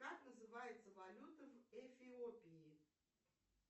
как называется валюта в эфиопии